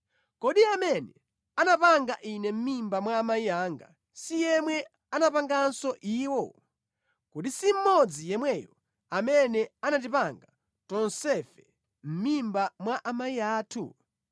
Kodi amene anapanga ine mʼmimba mwa amayi anga si yemwe anapanganso iwo? Kodi si mmodzi yemweyo amene anatipanga tonsefe mʼmimba mwa amayi athu?